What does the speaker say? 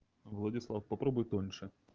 владислав попробуй тоньше